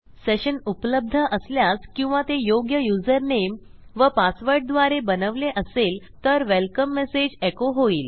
session उपलब्ध असल्यास किंवा ते योग्य युजरनेम व पासवर्डद्वारे बनवले असेल तर वेलकम मेसेज एको होईल